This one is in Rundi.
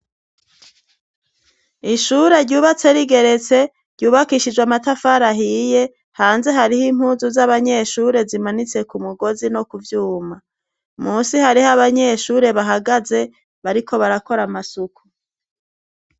Ishure ryubatse rigeretse ryubakishije amatafari ahiye hanze hariho impuzu z'abanyeshure zimanitse ku mugozi no kubyuma munsi hariho abanyeshure bahagaze bariko barakora amasuku.